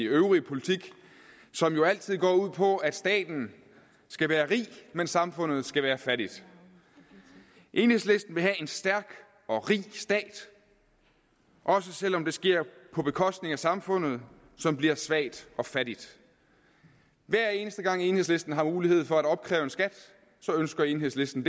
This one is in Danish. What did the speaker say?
øvrige politik som jo altid går ud på at staten skal være rig men samfundet skal være fattigt enhedslisten vil have en stærk og rig stat også selv om det sker på bekostning af samfundet som bliver svagt og fattigt hver eneste gang enhedslisten har mulighed for at opkræve en skat så ønsker enhedslisten